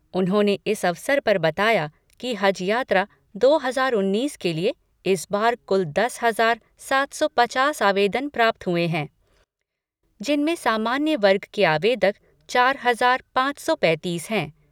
उन्होंने इस अवसर पर बताया कि हज यात्रा दो हजार उन्नीस के लिए इस बार कुल दस हजार सात सौ पचास आवेदन प्राप्त हुए हैं जिनमें सामान्य वर्ग के आवेदक चार हजार पाँच सौ पैंतीस हैं।